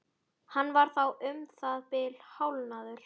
Hann var þá um það bil hálfnaður.